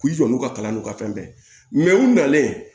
K'i jɔ n'u ka kalan n'u ka fɛn bɛɛ ye u nalen